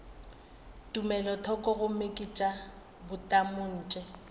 tumelothoko gomme ke tša bomatontshe